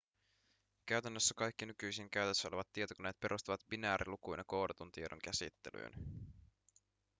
käytännössä kaikki nykyisin käytössä olevat tietokoneet perustuvat binäärilukuina koodatun tiedon käsittelyyn